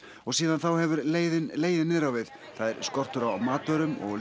og síðan þá hefur leiðin legið niður á við það er skortur á matvörum og